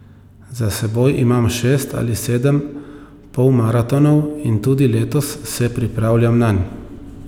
Za seboj imam šest ali sedem polmaratonov in tudi letos se pripravljam nanj.